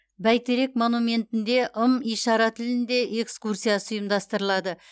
бәйтерек монументінде ым ишара тілінде экскурсиясы ұйымдастырылады